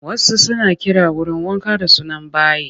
Wasu suna kiran wurin wanka da suna bayi